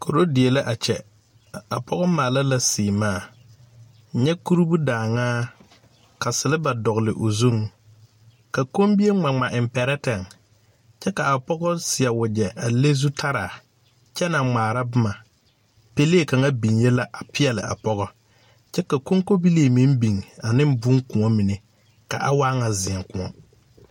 Koero die la a ky1. A p4g4 maala la seemaa. Ny1 kuribu da`aa, ka seleba d4gle o zu`, ka kommie `ma `ma e` p1ret1`, . Ky1 kaa p4g4 se1 wugy1 a lew zutaraa, ky1 na` `maara boma. Pelee ka`a bi`4ee la a pe1le a p44. Ky1 ka ko`kobilii mine me` bi` ane bo`k94 mine, ka a waa `a ze1 k94.